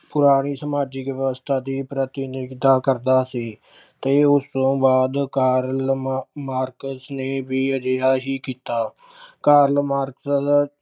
ਸਮਾਜਿਕ ਵਿਵਸਥਾ ਦੀ ਪ੍ਰਤਿਨਿਧਤਾ ਕਰਦਾ ਸੀ ਤੇ ਉਸ ਤੋਂ ਬਾਅਦ Karl Marx ਨੇ ਵੀ ਅਜਿਹਾ ਹੀ ਕੀਤਾ। Karl Marx